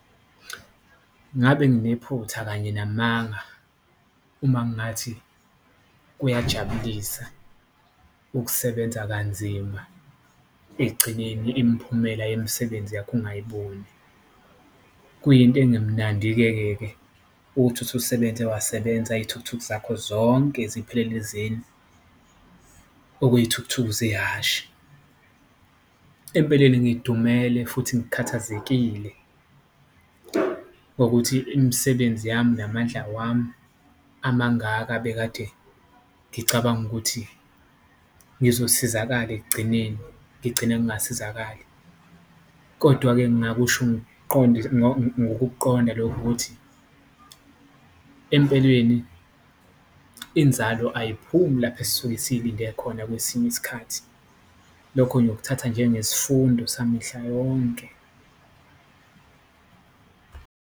Ngabe nginephutha kanye namathanga uma ngathi kuyajabulisa ukusebenza kanzima ekugcineni imiphumela yemisebenzi yakho ungayiboni, kuyinto engemnandi-kekeke ukuthi uthi usebenze wasebenza iyithukuthuku zakho zonke ziphelele ezeni, okuyithukuthuku zehhashi. Empeleni ngidumele futhi ngikhathazekile ngokuthi imisebenzi yami namandla wami amangaka abekade ngicabanga ukuthi ngizosizakala ekugcineni ngigcine ngasizakali. Kodwa-ke ngakusho ngokukuqonda lokho ukuthi empeleni inzalo ayiphumi lapho esisuke siyilinde khona kwesinye isikhathi, lokho ngiyokuthatha njenge sifundo samihla yonke.